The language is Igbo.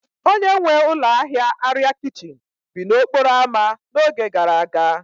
Onye nwe ụlọ ahịa arịa kichin bi n'okporo ámá n'oge gara aga